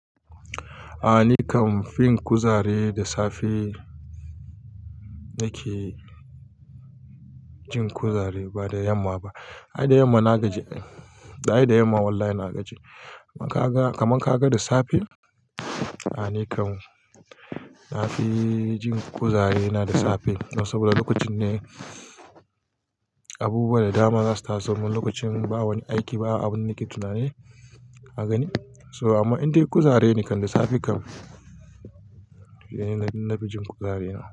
A nikam, fin kuzari da safe nakejin kuzari ba da yamma ba. Ai da yamma na gaji ai,-- ai da yamma walla na gaji. Kaga, kaman kaga da safe? A nikam nafi jin kuzari nada safe. Saboda lokacin ne abubuwa da dama zasu taso. Lokacin ba wani aiki, ba abin nake tunani ka gani. So amma in dai kuzari ne kam da safe kam, nan fi jin kuzari na.